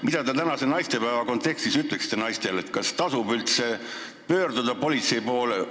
Mida te tänase naistepäeva kontekstis naistele ütleksite, kas tasub üldse politsei poole pöörduda?